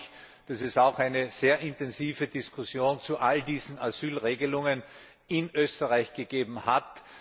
Ich freue mich, dass es eine sehr intensive Diskussion zu all diesen Asylregelungen auch in Österreich gegeben hat.